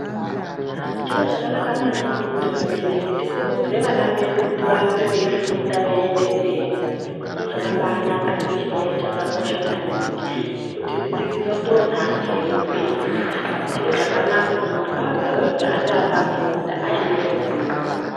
Chiro chakanaka maningi kuti vabereki tikurudzire vana vedu kuti varambe veifunda veienda mberi zviro zvakabanaka chiri chiro chakakosha maningi ngekuti dzidzo ndonhaka yehupenyu Saka chiro chakanaka kuti mwana ega ega ange akafunda ange ane ruzivo.